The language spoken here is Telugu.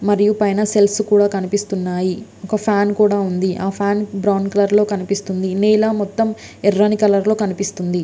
మరియు పైన సెల్ఫ్స్ కనిపిస్తున్నాయి పైన ఫ్యాన్ కూడా ఉంది ఆ ఫ్యాన్ బ్రౌన్ కలర్ లో ఉంది నీల మొత్తం యెర్రని కలర్ లో ఉంది .